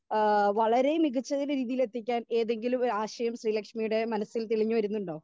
Speaker 2 ഏഹ് വളരെ മികച്ചരീതിയിൽ എത്തിക്കാൻ ഏതെങ്കിലും ഒരു ആശയം ശ്രീലക്ഷ്മിയുടെ മനസ്സിൽ തെളിഞ്ഞ് വരുന്നുണ്ടോ?